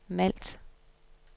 Malt